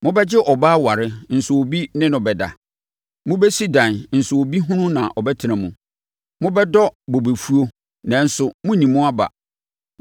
Mobɛgye ɔbaa aware nso obi ne no bɛda. Mobɛsi dan nso obi hunu na ɔbɛtena mu. Mobɛdɔ bobefuo nanso monnni mu aba.